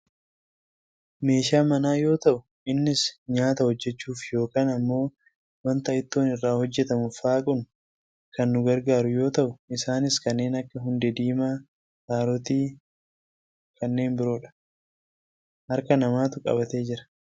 meeshaa manaa yoo ta'u innis nyaata hojjachuuf yookaan ammoo wanta ittoon irraa hojjatamu faaquun kan nu gargaaru yoo ta'u isaanis kanneen akka hundee diimaa, kaarootii kanneen biroodha. harka namaatu qabatee jira.